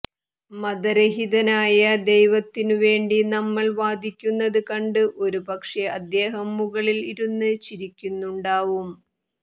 മതരഹിതനായ ദൈവത്തിനു വേണ്ടി നമ്മൾ വാദിക്കുന്നത് കണ്ട് ഒരുപക്ഷെ അദ്ദേഹം മുകളിൽ ഇരുന്ന് ചിരിക്കുന്നുണ്ടാവും